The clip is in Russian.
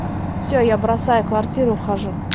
все я бросаю квартиру ухожу